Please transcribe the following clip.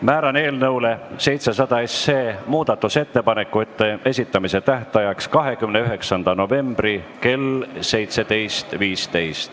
Määran eelnõu 700 muudatusettepanekute esitamise tähtajaks 29. novembri kell 17.15.